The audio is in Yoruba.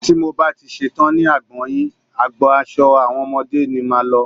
Tí mo bá ti ṣetán ní agbọn yìí, agbọn aṣo àwọn ọmọdé ni máa lọ.